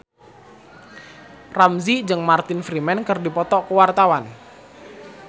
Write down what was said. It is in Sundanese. Ramzy jeung Martin Freeman keur dipoto ku wartawan